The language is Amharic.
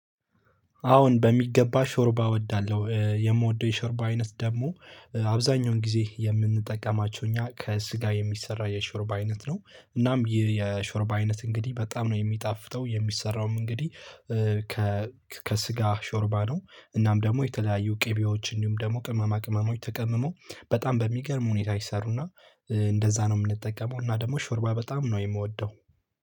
አዎን በሚገባ ሾርባ እወዳለሁ የምወደው የሾርባ አይነት ደግሞ አብዛኛውን ጊዜ የምንጠቀማቸው እኛ ከስጋ የሚሰራ የሾርብ አይነት ነው እናም ይህ የሾርብ አይነት እንግዲህ በጣም ነው የሚጣፍጠው የሚሰራውም እንግዲህ ከስጋ ሾርባ ነው። እናም ደግሞ የተለያዩ ቅቤዎች እንዲሁም ደግሞ ቅመማ ቅመሞች ተቀምሞ በጣም በሚገርም ሁኔታ ይሰሩና እንደዛ ነው እምንጠቀመው። እና ደግሞ ሾርባ በጣም ነው የምወደው።